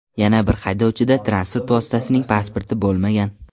Yana bir haydovchida transport vositasining pasporti bo‘lmagan.